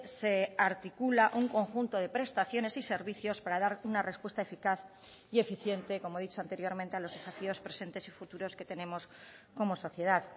se articula un conjunto de prestaciones y servicios para dar una respuesta eficaz y eficiente como he dicho anteriormente a los desafíos presentes y futuros que tenemos como sociedad